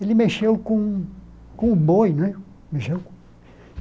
Ele mexeu com com o boi, né?